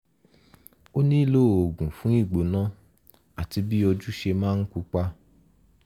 o nílò oògùn fún ìgbóná àti bí ojú ṣe máa ń pupa